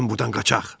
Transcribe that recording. Gəlin burdan qaçaq!